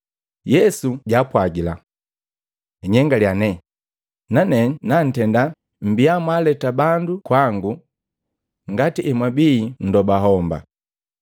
Yesu jaapwagila, “Nnyengalya ne, nane nantenda mmbia mwaaleta bandu kwangu ngati emwabii nndobo homba.”